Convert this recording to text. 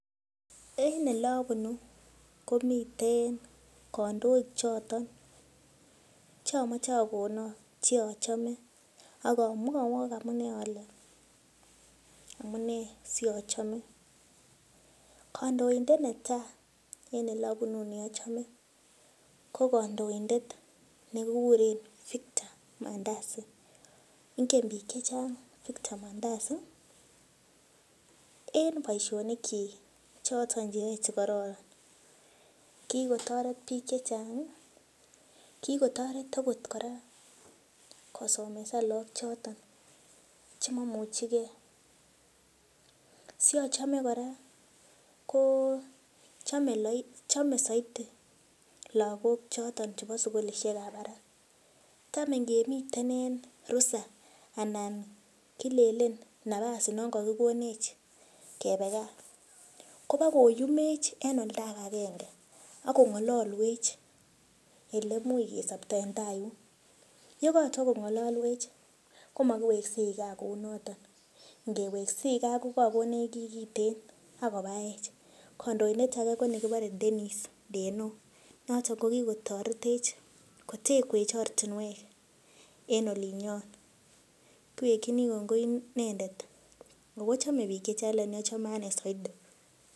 En elobunuu komiten kandoik choton chomoche akonok ak amwowok amunee ole amunee siachome. Kandoindet netaa en elobunuu neochome ko kondoindet nekikuren Victor Mandasi ngen biik chechang Victor Mandasi en boisionik kyik choton cheyoe chekororon, kikotoret biik chechang ih kikotoret okot kora kosomesan biik choton chemomuche gee siachome kora ko chome soiti lakok choton chebo sukulisiek ab barak. Tam ngemiten en rusa anan kilenen nafas non kokinech kebe gaa kobakoyumech en oldo agenge akong'ololwech elemuch kesopto en taa yuun, yekotwo kong'ololwech komokiweksei gaa kounoton ngeweksei gaa kokakonech kiy kiten akobaech. Kandoindet age ko nekibore Dennis Deno noton kokikotoretech kotekwech ortinwek en olinyon. Kowekyini kongoi inendet ako chome biik chechang lakini achome anee soiti